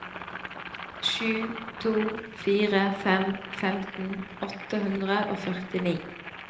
sju to fire fem femten åtte hundre og førtini